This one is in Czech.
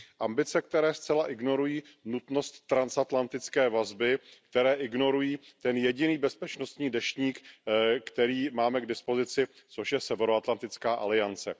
Ambice, které zcela ignorují nutnost transatlantické vazby, které ignorují ten jediný bezpečnostní deštník, který máme k dispozici, což je Severoatlantická aliance.